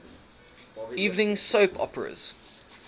evening soap operas